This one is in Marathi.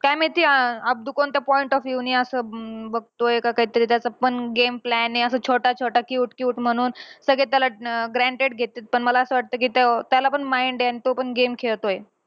काय माहिती अं अब्दू कोणत्या point of view ने असं अं बघतोय. का काहीतरी त्याचा पण game plan आहे. असा छोटा-छोटा cute cute म्हणून सगळे त्याला अं granted घेत्यात. पण मला असं वाटतं कि तो अं त्याला पण mind आहे आणि तो पण game खेळतोय.